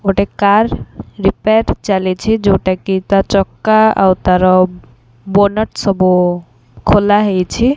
ଗୋଟେ car repair ଚାଲିଛି ଯୋଉଟାକି ତା ଚକା ଆଉ ତାର ବୋନଟ୍ ସବୁ ଖୋଲା ହେଇଛି।